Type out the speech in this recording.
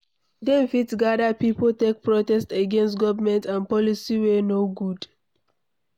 Dem fit gather pipo take protest against government and policy wey no good